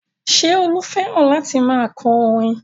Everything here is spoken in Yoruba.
Ṣé Olú fẹ́ràn láti máa kọ orin?